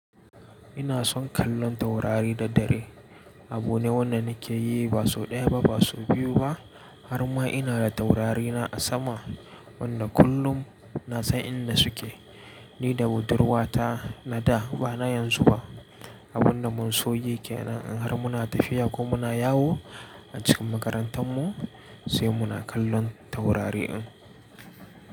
Ina son kallon taurari da dare. Abu ne wanda nike yi ba sau ɗaya ba, ba sau biyu ba. Har ma ina da taurari na a sama, wanda kullum na san inda suke. Ni da budurwa ta na da ba na yanzu ba. Abun da mun so yi kenan in har muna tafiya ko muna yawo a cikin makarantar mu sai muna kallon taurari din.